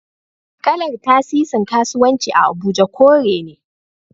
Kalar Tasisin kasuwanci a Abuja kore ne